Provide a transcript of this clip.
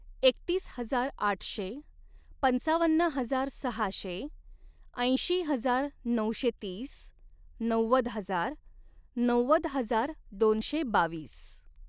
एकतीस हजार आठशे, पंचावन्न हजार सहाशे, ऐंशी हजार नऊशे तीस, नव्वद हजार, नव्वद हजार दोनशे बावीस